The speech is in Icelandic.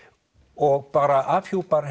og bara afhjúpar